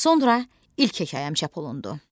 Sonra ilk hekayəm çap olundu.